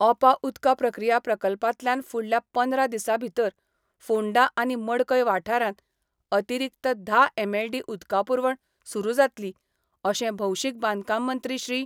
ओपा उदका प्रक्रिया प्रकल्पातल्यान फुडल्या पंदरा दिसाभितर फोंडा आनी मडकय वाठारांक अतिरिक्त धा एमएलडी उदका पूरवण सुरू जातली, अशें भौशीक बांदकाममंत्री श्री.